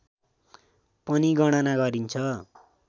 पनि गणना गरिन्छ